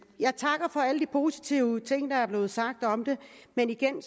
positive ting der er blevet sagt men igen